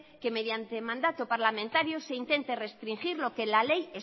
que mediante mandato parlamentario se intente restringir lo que la ley